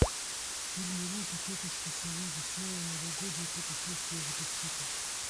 фильм уроки тетушки совы веселое новогоднее путешествие запусти ка